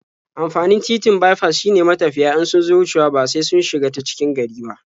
Amfanin titin baifas shine matafiya in sun zo wucewa ba sai sun shiga ta cikin gari ba.